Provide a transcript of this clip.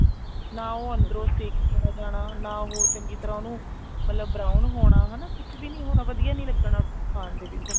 ਨਾ ਉਹ ਅੰਦਰੋਂ ਸੇਕਿਆ ਜਾਣਾ ਨਾ ਉਹ ਚੰਗੀ ਤਰ੍ਹਾਂ ਉਹਨੂੰ ਮਤਲਬ brown ਹੋਣਾ ਹਨਾ ਕੁੱਛ ਵੀ ਹੋਣਾ ਨਾ ਵਧੀਆ ਲੱਗਣਾ ਖਾਣ ਦੇ ਵਿੱਚ